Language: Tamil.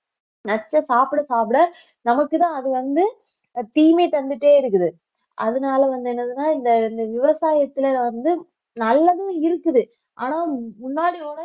நச்சு சாப்பிட சாப்பிட நமக்குதான் அது வந்து தீமை தந்துட்டே இருக்குது அதனால வந்து என்னதுன்னா இந்த இந்த விவசாயத்துல வந்து நல்லதும் இருக்குது ஆனா முன்னாடி ஓட